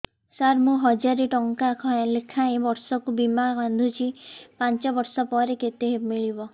ସାର ମୁଁ ହଜାରେ ଟଂକା ଲେଖାଏଁ ବର୍ଷକୁ ବୀମା ବାଂଧୁଛି ପାଞ୍ଚ ବର୍ଷ ପରେ କେତେ ମିଳିବ